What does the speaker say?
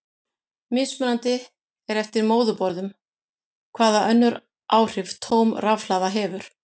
Mismunandi er eftir móðurborðum hvaða önnur áhrif tóm rafhlaða hefur.